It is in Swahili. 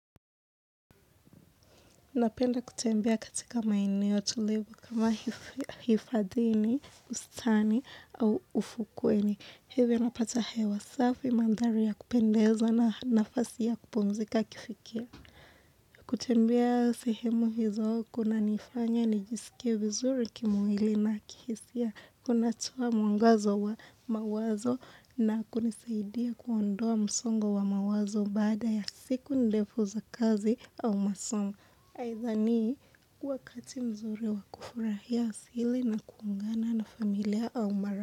Napenda kutembea katika maeneo tulivu kama hifadhini, ustani au ufukweni. Hivyo napata hewa safi mandhari ya kupendeza na nafasi ya kupumzika kifikia. Kutembea sehemu hizo kuna nifanya nijisikie vizuri kimwili na kihisia kunatoa mwangazo wa mawazo na kunisaidia kuondoa msongo wa mawazo baada ya siku ndefu za kazi au masongo. Haithanii kuwa kati mzuri wa kufurahia thili na kuungana na familia au mara.